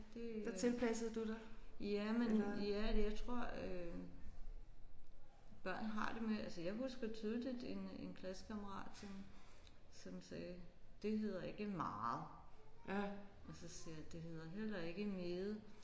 Det øh jamen ja jeg tror øh børn har det med altså jeg husker tydeligt en en klassekammerat som som sagde det hedder ikke meget og så siger jeg det hedder heller ikke meget